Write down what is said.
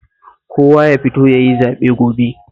Kowa ya fito ya yi zaɓe gobe